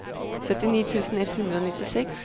syttini tusen ett hundre og nittiseks